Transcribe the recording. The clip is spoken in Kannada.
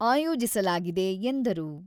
ಆಯೋಜಿಸಲಾಗಿದೆ ಎಂದರು.